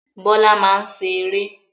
Bọ́lá máa ń ṣe eré.